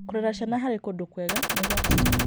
Gũcirera ciana harĩ kũndũ kwega nĩ gwa bata.